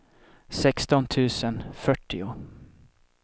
sexton tusen fyrtio